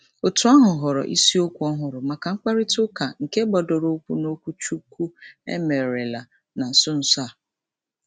Òtù ahụ họọrọ isiokwu ọhụrụ maka mkparịtaụka nke gbadoroụkwụ n'okwuchukwu e merela na nso nso a.